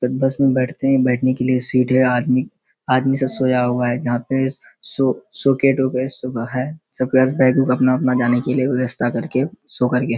तब बस में बैठते हैं बैठने के लिए सीट है। आदमी आदमी सब सोया हुआ है जहाँ पे सो सूटकेस - उटकेस है सब के पास बैग उग अपना है जाने के लिए व्यवस्था करे के सो कर के --